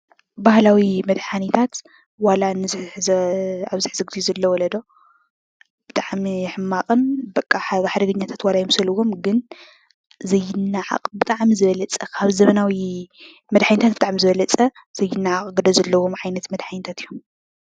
ባህላዊ መደሓኒታት ዋላኣብዚ ሕዚ ዘሎ ወለዶ ብጣዕሚ ሕማቅን ሓደገኛ ወረ የምስልዎም ግን ዘይናዓቅ ብጣዕሚ ዝበለፀ ካብ ዘመናዊ መደሓኒታት ብጣዕሚ ዝበለፀ ዘይናዓቅ ግደ ዘለዎም ዓይነታት መድሓኒት እዩም::